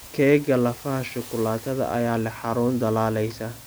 Keega lafaha shukulaatada ayaa leh xarun dhalaalaysa.